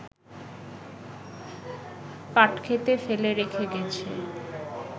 পাটক্ষেতে ফেলে রেখে গেছে